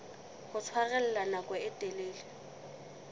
ho tshwarella nako e telele